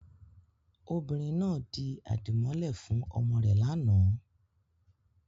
Obìnrin náà di àdìmọ́lẹ̀ fún ọmọ rẹ̀ lánàá.